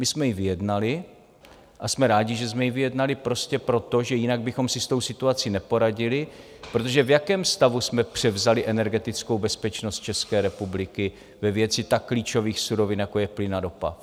My jsme ji vyjednali a jsme rádi, že jsme ji vyjednali, prostě proto, že jinak bychom si s tou situací neporadili, protože v jakém stavu jsme převzali energetickou bezpečnost České republiky ve věci tak klíčových surovin, jako je plyn a ropa?